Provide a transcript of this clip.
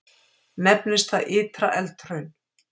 Nefnist það Ytra-Eldhraun.